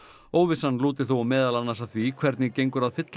óvissan lúti þó meðal annars að því hvernig gengur að fylla